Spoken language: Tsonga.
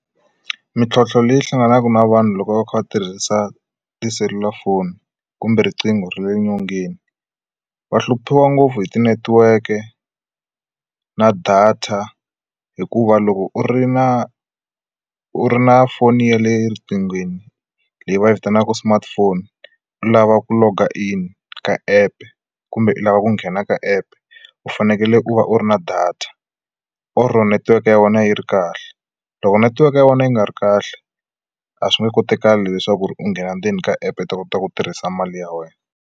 Mintlhotlho leyi hlanganaka na vanhu loko va kha va tirhisa tiselulafoni kumbe riqingho ra le nyongeni va hluphiwa ngopfu hi ti network-e na data hikuva loko u ri na u ri na foni ya le riqinghweni leyi va yi vitanaka smartphone u lava ku loga-in ka app kumbe u lava ku nghena ka app u fanekele u va u u ri na data or netiweke ya wena yi ri kahle loko netiweke ya wena yi nga ri kahle a swi nge koti kale leswaku u nghena ndzeni ka app ta kota ku tirhisa mali ya wena.